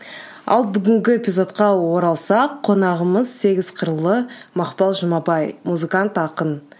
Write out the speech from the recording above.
ал бүгінгі эпизодқа оралсақ қонағымыз сегіз қырлы мақпал жұмабай музыкант ақын